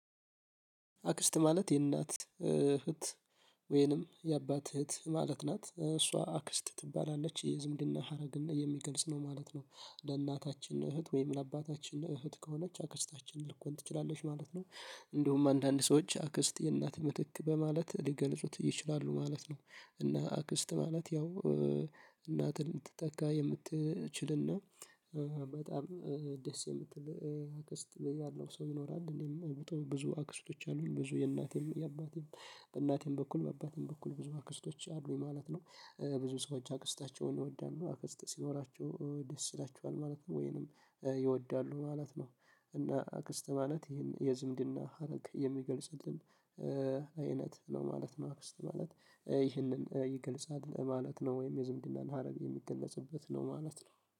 አክስት ማለት የእናት እህት ወይንም የአባት እህት ማለት ናት እሷ አክስት ትባላለች የዝምድና ሀረግና የሚገልጽ ነው ማለት ነው። ለእናታችን እህት ወይም ለአባታችን እህት ከሆነች አክስታችንን ልኮን ትችላለች ማለት ነው። እንዲሁም አንዳንድ ሰዎች አክስት የእናት ምትክ በማለት ሊገልጹት ይችላሉ ማለት ነው። እና አክስት ማለት ያው እናትን ልትተካ የምትችልና በጣም ደስ የምትል አክስት ያለው ሰው ይኖራል። እኔም ብጦ ብዙ አክስቶች አሉኝ ብዙ የእናቴም የአባቴም በእናቴም በኩል በአባቴም በኩል ብዙ አክስቶች አሉኝ ማለት ነው። ብዙ ሰዎች አክስታቸውን ይወዳሉ አክስት ሲኖራቸው ደስ ይላቸዋል ማለት ነው ወይንም ይወዳሉ ማለት ነው። እና አክስት ማለት ይህን የዝምድና ሀረግ የሚገልጽልን አይነት ነው ማለት ነው። አክስት ማለት ይህንን ይገልጻል ማለት ነው ወይም የዝምድና ሀረግ የሚገለጽበት ነው ማለት ነው